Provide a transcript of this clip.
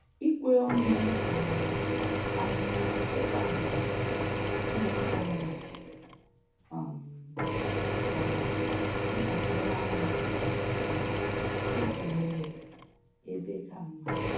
Ikwe ọnụ um ahịa ụgbọala n'ịntaneetị um chọrọ mkpacharaanya na-ịtụnyere ebe ka mma